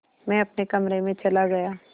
मैं अपने कमरे में चला गया